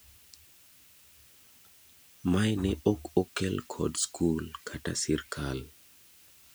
mae ne ok okel kod skul kata sirkal